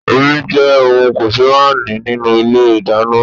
Omi jẹ́ ohùn kòsémàání nínú Ilé ìdáná